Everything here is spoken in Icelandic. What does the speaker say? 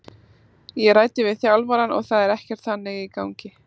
Ég ræddi við þjálfarann og það er ekkert þannig í gangi.